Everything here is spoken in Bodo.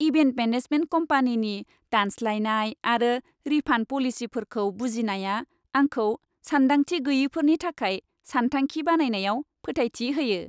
इभेन्ट मेनेजमेन्ट कम्पानिनि दानस्लायनाय आरो रिफान्ड पलिसिफोरखौ बुजिनाया आंखौ सानदांथि गैयैफोरनि थाखाय सानथांखि बानायनायाव फोथायथि होयो।